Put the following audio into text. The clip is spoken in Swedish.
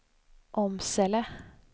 Åmsele